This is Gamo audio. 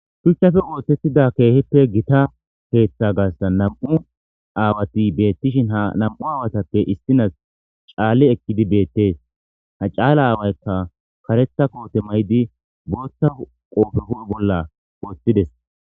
shuchchafe ooththettida keehippe gita keeththa gassa nam7u aawati beettishin ha nam7u aawatappe issinas caalli ekkidi beettees ha caala aawaykka karetha koote maydi booththa qoofe hu7e bolla wooththides